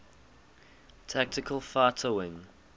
tactical fighter wing